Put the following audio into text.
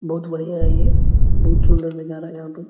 बहुत बढ़िया है ये बहुत सुंदर नजारा है यहां पर।